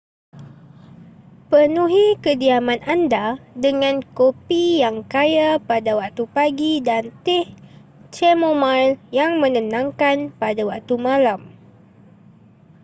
penuhi kediaman anda dengan kopi yang kaya pada waktu pagi dan teh chamomile yang menenangkan pada waktu malam